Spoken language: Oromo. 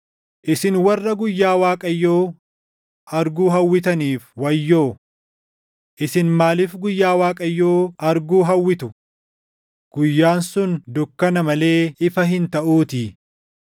Isin warra guyyaa Waaqayyoo arguu hawwitaniif wayyoo! Isin maaliif guyyaa Waaqayyoo arguu hawwitu! Guyyaan sun dukkana malee ifa hin taʼuutii.